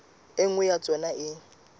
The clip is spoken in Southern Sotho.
e nngwe ya tsona e